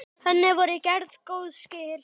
Henni voru gerð góð skil.